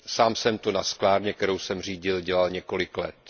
Sám jsem to na sklárně, kterou jsem řídil, dělal několik let.